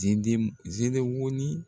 Zendim zenewɔni?